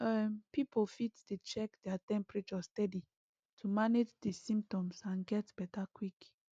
um pipo fit dey check their temperature steady to manage di symptoms and get beta quick